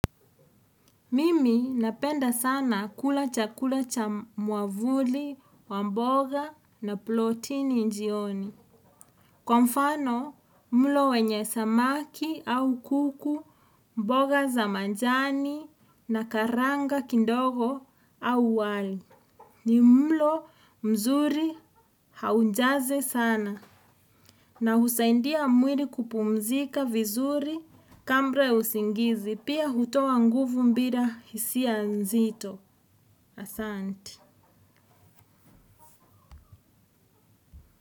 Mimi napenda sana kula chakula cha mwavuli wa mboga na plotini njioni. Kwa mfano mlo wenye samaki au kuku mboga za manjani na karanga kindogo au wali ni mlo mzuri haujaze sana. Na husaindia mwiri kupumzika vizuri kambra usingizi pia hutowa nguvu mbira hisia mzito asanti.